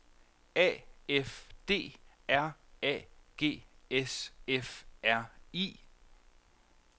A F D R A G S F R I